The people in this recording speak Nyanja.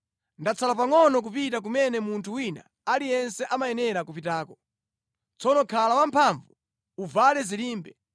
“Ndatsala pangʼono kupita kumene munthu wina aliyense amayenera kupitako. Tsono khala wamphamvu, uvale zilimbe,